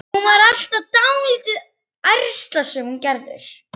Hún var alltaf dálítið ærslasöm, hún Gerður.